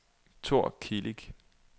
Thor Kilic